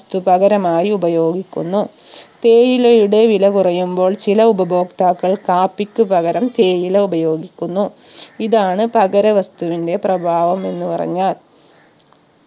സ്തു പകരമായി ഉപയോഗിക്കുന്നു തേയിലയുടെ വില കുറയുമ്പോൾ ചില ഉപഭോക്താക്കൾ കാപ്പിക്ക് പകരം തേയില ഉപയോഗിക്കുന്നു ഇതാണ് പകര വസ്തുവിന്റെ പ്രഭാവം എന്ന് പറഞ്ഞാൽ